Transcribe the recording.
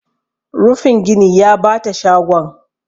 rufin gini ya bata shagon